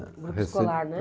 Grupo escolar, né?